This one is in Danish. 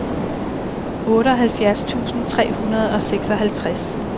otteoghalvfjerds tusind tre hundrede og seksoghalvtreds